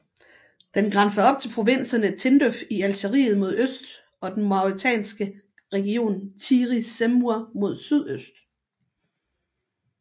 Den grænser op til provinserne Tindouf i Algeriet mod øst og den Mauretanske region Tiris Zemmour mod sydøst